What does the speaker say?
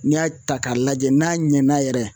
N'i y'a ta k'a lajɛ n'a ɲɛna yɛrɛ